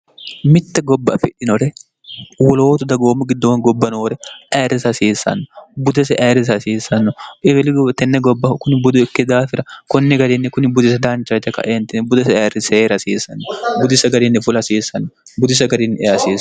mitte gobba a fidhinore wolootu dagoommu giddoon gobba noore ayirrisi hasiissanno budese ayirrise hasiissanno ebelig tenne gobbahu kuni budoikke daafira konni garinni kuni budise daancha yite kaeentine budese ayirri seer hasiissanno budisa garinni fula hasiissanno budisa garinni eehasiiro